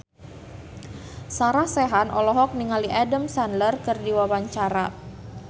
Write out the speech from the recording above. Sarah Sechan olohok ningali Adam Sandler keur diwawancara